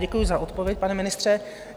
Děkuju za odpověď, pane ministře.